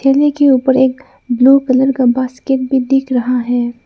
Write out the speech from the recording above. ठेले के ऊपर एक ब्लू कलर का बास्केट भी दिख रहा है।